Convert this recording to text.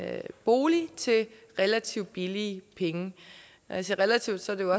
bolig til relativt billige penge når jeg siger relativt er det